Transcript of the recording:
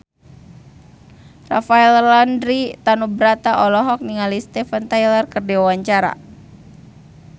Rafael Landry Tanubrata olohok ningali Steven Tyler keur diwawancara